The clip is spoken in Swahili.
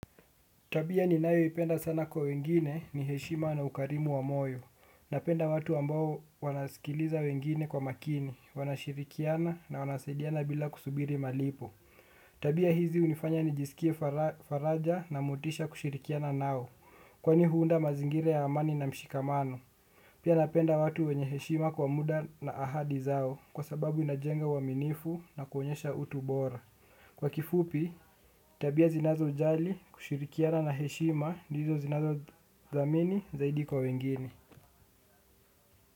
Tabia ni nayo ipenda sana kwa wengine ni heshima na ukarimu wa moyo. Napenda watu ambao wanaskiliza wengine kwa makini. Wanashirikiana na wanasaidiana bila kusubiri malipo. Tabia hizi unifanya ni jisikie faraja na motisha kushirikiana nao. Kwani huunda mazingira ya amani na mshikamano. Pia napenda watu wenye heshima kwa muda na ahadi zao. Kwa sababu inajenga uaminifu na kuonyesha utubora. Kwa kifupi tabia zinazo jali kushirikiana na heshima ndizo zinazo thamani zaidi kwa wengini.